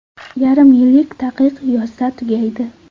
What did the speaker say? Yarim yillik taqiq yozda tugaydi.